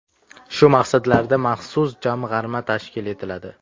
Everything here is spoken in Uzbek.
Shu maqsadlarda maxsus jamg‘arma tashkil etiladi.